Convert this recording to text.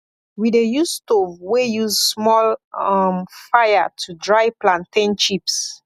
we dey use stove wey use small um fire to dry plantain chips